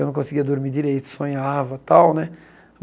Eu não conseguia dormir direito, sonhava tal, né?